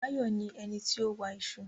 Báyọ̀ ní ẹnití ó wa iṣu